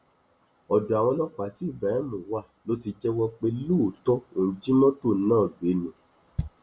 ọdọ àwọn ọlọpàá tí ibrahim wá ló ti jẹwọ pé lóòótọ òun jí mọtò náà gbé ni